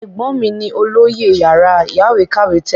Ẹ̀gbọ́n mí ni olóyè yàrá ìyáwèékàwé tẹ́lẹ̀.